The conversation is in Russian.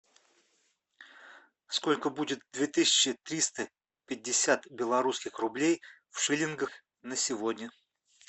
сколько будет две тысячи триста пятьдесят белорусских рублей в шиллингах на сегодня